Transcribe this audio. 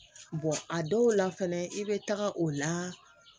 a dɔw la fɛnɛ i bɛ taga o la